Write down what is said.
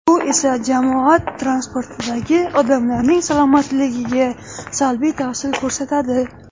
Bu esa jamoat transportidagi odamlarning salomatligiga salbiy ta’sir ko‘rsatadi.